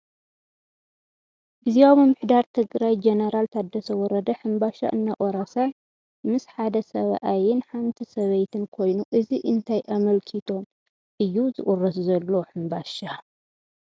ግዝያዊ ምምሕዳር ትግራይ ጀነራል ታደሰ ወረደ ሕምባሻ እናቆረሰ ምስ ሓደ ሰብኣይንሓንቲ ሰበይቲን ኮይኑ እዚ እንታይ ኣመልኪቶም እዩ ዝቁረስ ዘሎ ሕምባሻ ?